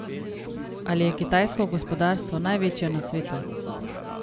Ali je kitajsko gospodarstvo največje na svetu?